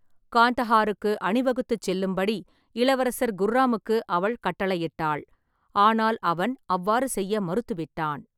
காந்தஹாருக்கு அணிவகுத்துச் செல்லும்படி இளவரசர் குர்ராமுக்கு அவள் கட்டளையிட்டாள், ஆனால் அவன் அவ்வாறு செய்ய மறுத்துவிட்டான்.